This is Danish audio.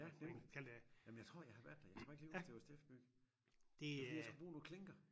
Ja nemlig jamen jeg tror jeg har været der jeg kan bare ikke lige huske det var Steff-byg det var fordi jeg skulle bruge nogle klinker